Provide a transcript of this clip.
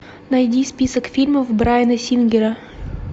найди список фильмов брайана сингера